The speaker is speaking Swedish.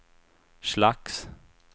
slags